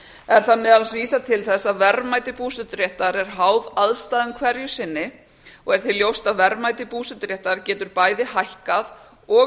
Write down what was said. er þar meðal annars vísað til þess að verðmæti búseturéttar er háð aðstæðum hverju sinni og er því ljóst að verðmæti búseturéttar getur bæði hækkað og